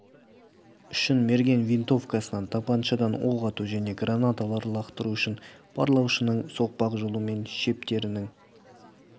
үшін мерген винтовкасынан тапаншадан оқ ату және гранаталар лақтыру үшін барлаушының соқпақ жолы мен шептерінің